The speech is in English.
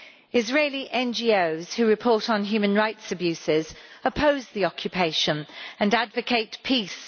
Israeli NGOs who report on human rights abuses oppose the occupation and advocate peace.